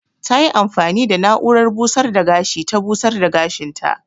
Ta yi amfani da na'urar busar da gashi ta busar da gashin ta.